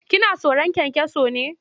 Kina tsoron kyankyaso ne?